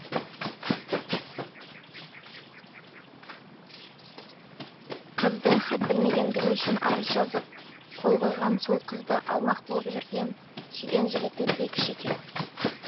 қыздың хат білмегендігі үшін арыз жазып қол қойған сол қызды алмақ болып жүрген сүйген жігіті бекіш екен